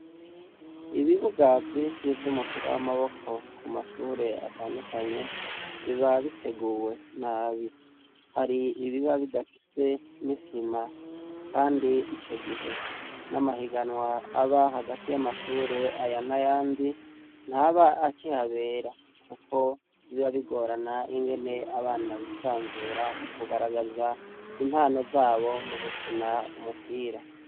Ikibuga c' umupira w' amaboko cubatswe n' isim' ivanze n' umusenyi, kikaba kiboneka neza ko kirihanze y' amashure mu kibuga habonek' icapa c' ikibaho n' umuzingi bateramw' umupira gishinze kucuma, inyuma y' ikibuga har' inyubako nin' igeretse ifise n' inkingi zera n' amadirisha menshi n' imodoka zitandukanye n' abantu batambuka hafi y' uruzitiro.